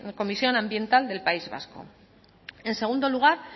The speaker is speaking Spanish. comisión ambiental del país vasco en segundo lugar